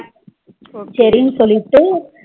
சரினு சொல்லிட்டு